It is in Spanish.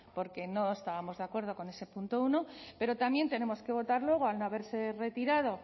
porque no estábamos de acuerdo con ese punto uno pero también tenemos que votar luego al no haberse retirado